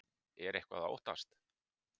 Er eitthvað að óttast?